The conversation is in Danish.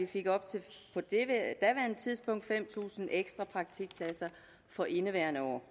fik op til fem tusind ekstra praktikpladser for indeværende år